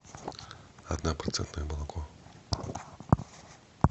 однопроцентное молоко